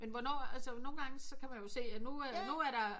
Men hvornår altså nogen gange så kan man jo se at nu nu er der